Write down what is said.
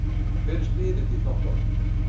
Hver er spyrill í þáttunum?